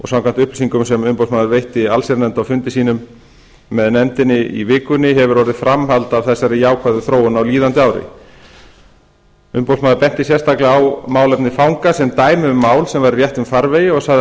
samkvæmt upplýsingum sem umboðsmaður veitti allsherjarnefnd á fundi sínum með nefndinni í vikunni hefur orðið framhald á þessari jákvæðu þróun á líðandi ári umboðsmaður benti sérstaklega á málefni fanga sem dæmi um mál sem væru í réttum farvegi og sagði að